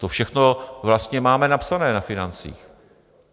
To všechno vlastně máme napsané na financích.